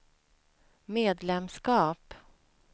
medlemskap